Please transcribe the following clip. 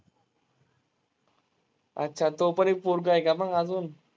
अच्छा, तो पण एक पोरगा आहे का मग अजून?